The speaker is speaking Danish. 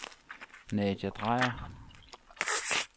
Nadia Dreyer